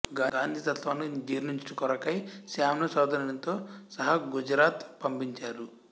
గాంధీ తత్త్వాన్ని జీర్ణించుట కొరకై శాం ను సోదరునితో సహా గుజరాత్ పంపించారు